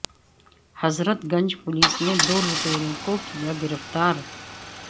حضرت گنج پولیس نے دو لٹیروں کو کیا گرفتار